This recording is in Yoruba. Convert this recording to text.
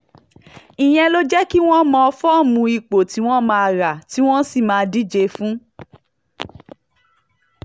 ìyẹn ló lè jẹ́ kí wọ́n mọ fọ́ọ̀mù ipò tí wọ́n máa rà tí wọ́n sì máa díje fún